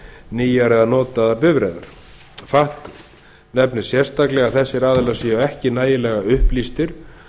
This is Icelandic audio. nýjar eða notaðar bifreiðar fatf nefnir sérstaklega að þessir aðilar séu ekki nægilega upplýstir